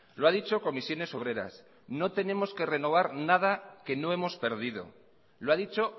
lo ha dicho comisiones obreras no tenemos que renovar nada que no hemos perdido lo ha dicho